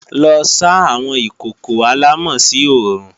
Lọ sá àwọn ìkòkò àlámọ̀ sí oòrùn!